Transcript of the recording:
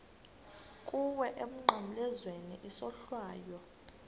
kuwe emnqamlezweni isohlwayo